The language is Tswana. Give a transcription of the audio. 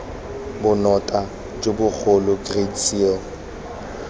bonota jo bogolo great seal